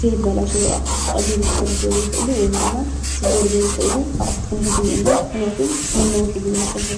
ዘይበላሸው ኣቁሑት ብቀሊሉ ክበላሸው ዘየክእሉ ወይድማ ክስበሩ ዘይክእሉ ኣቁሑት ክንሕዝ እኒአና ምክንያቱም ንነዊሕግዜ ክፀንሑ።